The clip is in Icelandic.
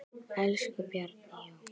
Elsku Bjarni Jón.